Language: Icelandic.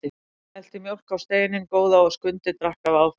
Hann hellti mjólk á steininn góða og Skundi drakk af áfergju.